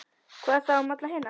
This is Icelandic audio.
Hvað þá um alla hina?